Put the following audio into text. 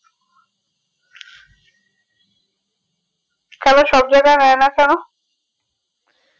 কেনো সব জায়গাই ন্যায় না কেনো